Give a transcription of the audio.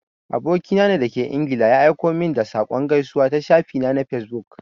Aboki na da ke ingila ya aiko min da saƙon gaisuwa a shafi na na fesbuk.